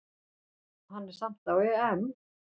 Hann er samt á EM.